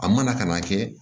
A mana ka na kɛ